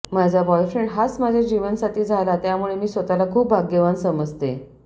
माझा बॉयफ्रेंड हाच माझा जीवनसाथी झाला त्यामुळे मी स्वतःला खूप भाग्यवान समजते